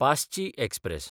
पासचीं express